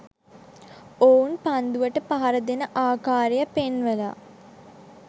ඔවුන් පන්දුවට පහර දෙන ආකාරය පෙන්වල